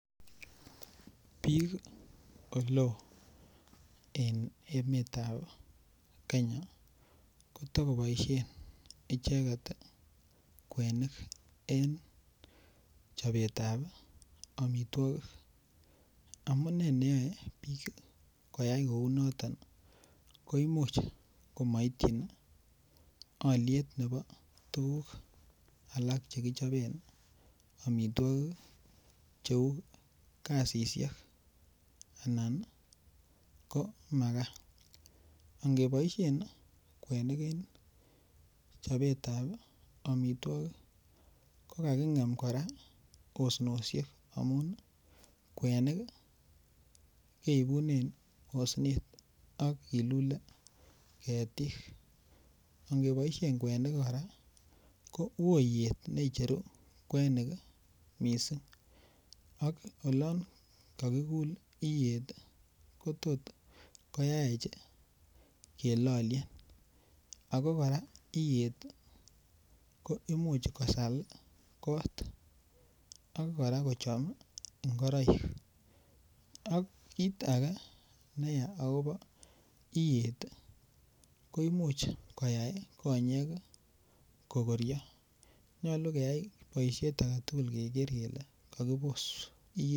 Biik oleo en emetab kenya kotokioboisien icheket ii kwenik en chobetab amitwogik amunee neyoe biik koyai kou noton ko imuch komoityin alyet nebo tuguk alak chekichoben amitwogik ii cheu gasisiek anan ko makaa, angeboisien kwenik en chobetab amitwogik ko kaking'em kora osnosiek amun kwenik keibunen osnet akilule ketik, angeboisien kwenik kora ko woo iyet necheru kwenik missing ak olon kokikul iyet ii kotot koyaech kelolien, ako kora iyet ii ko imuch kosal kot ako kora kochom ingoroik, ak kit ake neya akopo iyet koimuch koyai konyek kokorio nyolu keyai boisiet agetugul keker kele kokibos iyet.